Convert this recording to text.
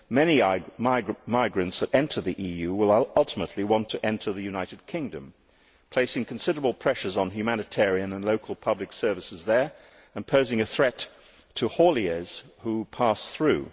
Many migrants who enter the EU will ultimately want to enter the United Kingdom, placing considerable pressures on humanitarian and local public services there and posing a threat to hauliers who pass through.